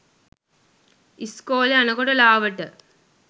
ඉස්කෝලෙ යනකොට ලාවට